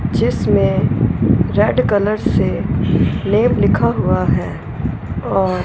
जिसमें red colour से name लिखा हुआ है और--